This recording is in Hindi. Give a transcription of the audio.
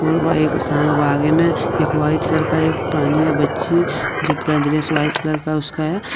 एक व्हाइट कलर एक पहनी है बच्ची जो पूरा ड्रेस व्हाइट कलर का उसका है।